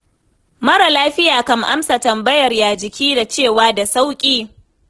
Mara lafiya kan amsa tambayar 'ya jiki?', da cewa 'da sauƙi'.